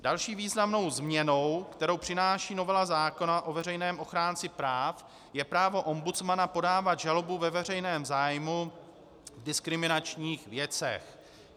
Další významnou změnou, kterou přináší novela zákona o veřejném ochránci práv, je právo ombudsmana podávat žalobu ve veřejném zájmu v diskriminačních věcech.